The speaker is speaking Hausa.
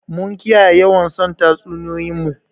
Mun kiyaye yawan son tatsuniyoyin mu?